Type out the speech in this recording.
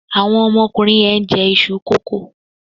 Àwọn ọmọkùnrin yẹn ń jẹ iṣu kókò.